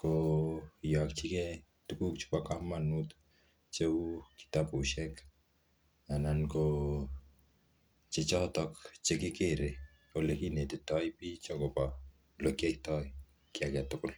koyakchikey tuguk chebo komonut che kitabusiek anan ko che chotok che kikere ole kinetitoi pich akobo ole kiyoitoi kiy age tugul